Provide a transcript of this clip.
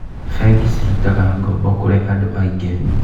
Bengi cirutaga ngombo kũrĩ andũ aingĩ.